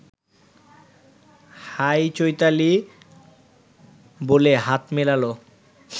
high Chaitali বলে হাত মেলাল